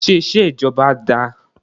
Ṣé iṣẹ́ ìjọba dáá?